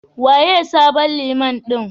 Waye sabon Liman ɗin?